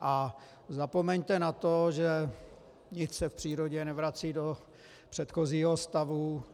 A zapomeňte na to, že nic se v přírodě nevrací do předchozího stavu.